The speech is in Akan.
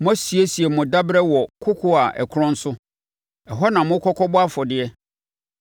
Moasiesie mo daberɛ wɔ kokoɔ a ɛkorɔn so; ɛhɔ na mokɔ kɔbɔ afɔdeɛ.